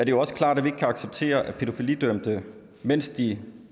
jo også klart at vi ikke kan acceptere at pædofilidømte mens de